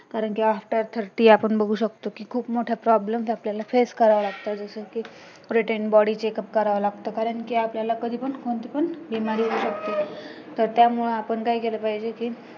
कारण कि after thirty आपण बघू शकतो कि खूप मोठ्या problem आपल्याला face करावं लागतं जसे कि routine body checkup करावं लागतं कारण आपण कधी पण आपल्याला बिमारी होऊ शकते तर त्यामुडे आपण काय केलं पाहिजे कि